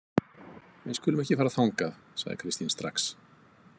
Við skulum ekki fara þangað, sagði Kristín strax.